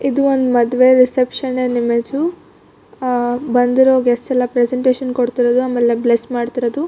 ಇದು ಒಂದು ಮದುವೆ ರಿಸೆಪ್ಶನ್ ನಿನ ಇಮೇಜ್ ಅಹ್ ಬಂದಿರೋ ಗೆಸ್ ಎಲ್ಲಾ ಪ್ರೆಸೆಂಟೇಷನ್ ಕೊಡತ್ತಿರೋದು ಆಮೇಲೆ ಬ್ಲೆಸ್ ಮಾಡತ್ತಿರೋದು.